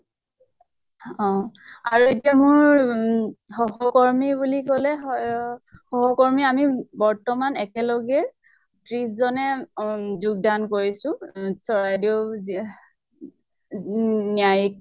অহ আৰু এতিয়া মোৰ উম সহ্কৰ্মি বুলি কলে হয় অ সহ্কৰ্মি আমি বৰ্তমান একেলগে ত্ৰিছ জনে অম যোগ্দান কৰিছো অ চৰাইদেউ জিয়া ন্য়া ন্য়ায়িক